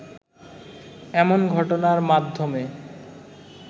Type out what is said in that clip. এমন ঘটনার মাধ্যমে